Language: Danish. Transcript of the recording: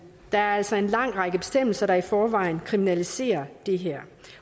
der er altså en lang række bestemmelser der i forvejen kriminaliserer det her